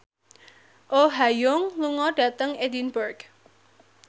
Oh Ha Young lunga dhateng Edinburgh